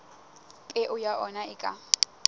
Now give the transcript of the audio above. peo ya ona e ka